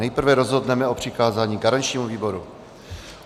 Nejprve rozhodneme o přikázání garančnímu výboru.